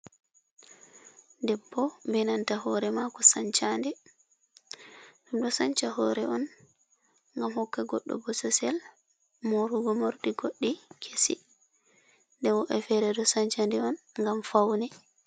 Debbo" be nanta hore mako sancha nde. Ɗum ɗo sancha hore on ngam hokka goɗɗo bososel morugo morɗi goɗɗi kesi. Nden woɗɓe fere ɗo sancha nde on ngam faune.